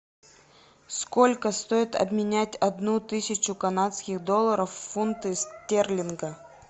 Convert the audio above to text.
сколько стоит обменять одну тысячу канадских долларов в фунты стерлинга